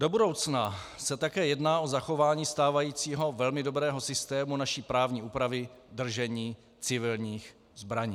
Do budoucna se také jedná o zachování stávajícího velmi dobrého systému naší právní úpravy držení civilních zbraní.